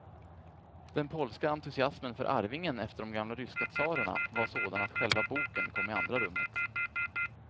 Den polska entusiasmen för arvingen efter de gamla ryska tsarerna var sådan att själva boken kom i andra rummet.